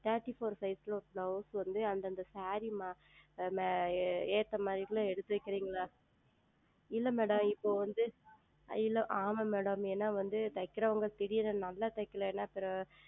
Thirty FourSize ல ஓர் Blouse வந்து அந்த அந்த Saree ஏற்ற மாதிரி எடுத்து வைக்கீர்களா இல்லை Madam இப்பொழுது வந்து ஆமாம் Madam ஏனால் வந்து தைப்பவர்கள் திடீர் என்று நன்றாக தைக்கவில்லை என்றால் அப்புறம்